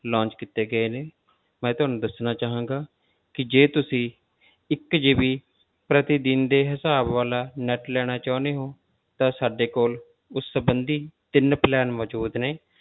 Launch ਕੀਤੇ ਗਏ ਨੇ ਮੈਂ ਤੁਹਾਨੂੰ ਦੱਸਣਾ ਚਾਹਾਂਗਾ ਕਿ ਜੇ ਤੁਸੀਂ ਇੱਕ GB ਪ੍ਰਤੀਦਿਨ ਦੇ ਹਿਸਾਬ ਵਾਲਾ net ਲੈਣਾ ਚਾਹੁੰਦੇ ਹੋ, ਤਾਂ ਸਾਡੇ ਕੋਲ ਉਸ ਸੰਬੰਧੀ ਤਿੰਨ plan ਮੌਜੂਦ ਨੇ।